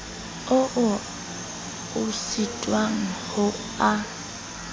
ao o sitwang ho a